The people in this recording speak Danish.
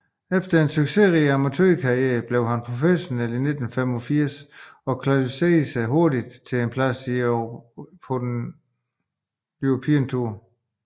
Efter en succesrig amatørkarriere blev han professionel i 1985 og kvalificerede sig hurtigt til en plads på European Tour